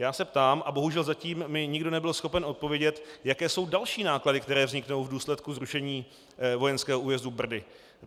Já se ptám a bohužel mi zatím nikdo nebyl schopen odpovědět, jaké jsou další náklady, které vzniknou v důsledku zrušení vojenského újezdu Brdy.